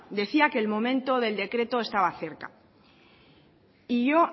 decía que el momento del decreto estaba cerca y yo